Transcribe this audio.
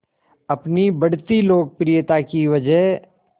अपनी बढ़ती लोकप्रियता की वजह